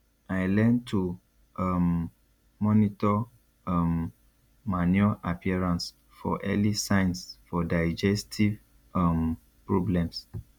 i learn to um monitor um manure appearance for early signs for digestive um problems